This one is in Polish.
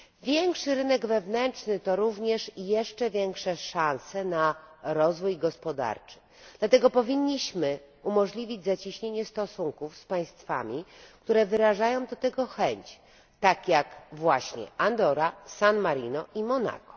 Większy rynek wewnętrzny to również jeszcze większe szanse na rozwój gospodarczy, dlatego powinniśmy umożliwić zacieśnienie stosunków z państwami, które wyrażają do tego chęć, tak jak czynią to Andora, San Marino i Monako.